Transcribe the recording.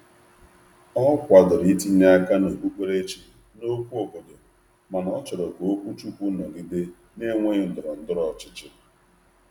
Ọ kwadoro itinye aka n’okpukperechi n’okwu obodo mana ọ chọrọ ka okwuchukwu nọgide na-enweghị ndọrọ ndọrọ ọchịchị.